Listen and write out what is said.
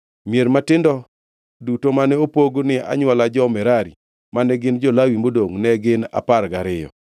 Mier matindo duto mane opog ni anywola jo-Merari mane gin jo-Lawi modongʼ, ne gin apar gariyo.